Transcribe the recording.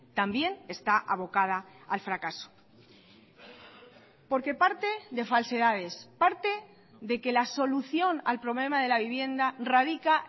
también está abocada al fracaso porque parte de falsedades parte de que la solución al problema de la vivienda radica